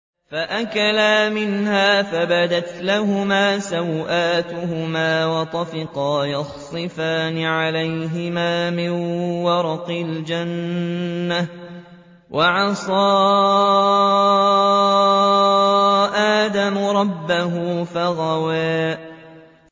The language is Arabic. فَأَكَلَا مِنْهَا فَبَدَتْ لَهُمَا سَوْآتُهُمَا وَطَفِقَا يَخْصِفَانِ عَلَيْهِمَا مِن وَرَقِ الْجَنَّةِ ۚ وَعَصَىٰ آدَمُ رَبَّهُ فَغَوَىٰ